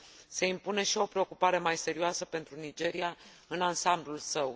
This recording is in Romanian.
Se impune și o preocupare mai serioasă pentru Nigeria, în ansamblul său.